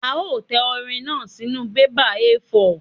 A ó tẹ orin náà sínú bébà A4.